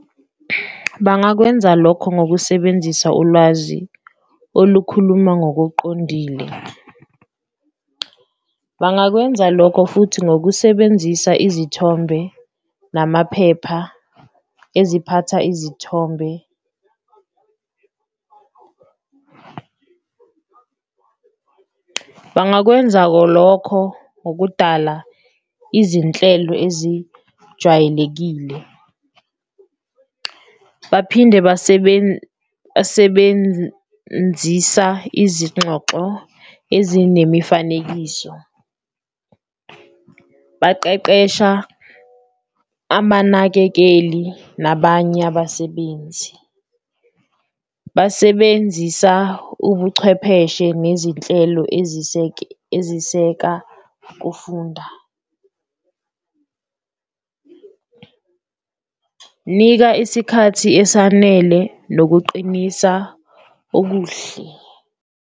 Bangakwenza lokho ngokusebenzisa ulwazi olukhuluma ngokuqondile, bangakwenza lokho futhi ngokusebenzisa izithombe namaphepha eziphatha izithombe, bangakwenza lokho ngokudala izinhlelo ezijwayelekile. Baphinde basebenzisa izingxoxo ezinemifanekiso, baqeqesha amanakekeli nabanye abasebenzi, basebenzisa ubuchwepheshe nezinhlelo eziseka kufunda, nika isikhathi esanele nokuqinisa okuhle.